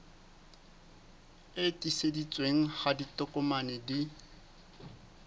e tiiseditsweng ha ditokomane di